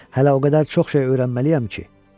Hələ o qədər çox şey öyrənməliyəm ki.